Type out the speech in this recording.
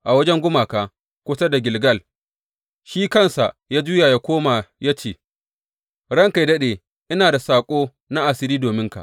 A wajen gumaka kusa da Gilgal, shi kansa ya juya ya koma ya ce, Ranka yă daɗe, ina da saƙo na asiri dominka.